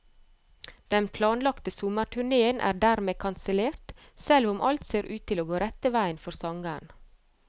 Den planlagte sommerturnéen er dermed kansellert, selv om alt ser ut til å gå rett vei for sangeren.